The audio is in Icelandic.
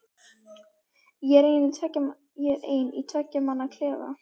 Ég er einn í tveggja manna klefa.